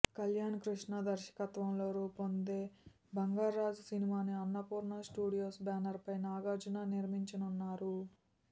కళ్యాణ్ కృష్ణ దర్శకత్వంలో రూపొందే బంగార్రాజు సినిమాని అన్నపూర్ణ స్టూడియోస్ బ్యానర్ పై నాగార్జున నిర్మించనున్నారు